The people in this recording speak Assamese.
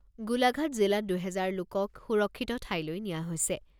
গোলাঘাট জিলাত দুহেজাৰ লোকক সুৰক্ষিত ঠাইলৈ নিয়া হৈছে।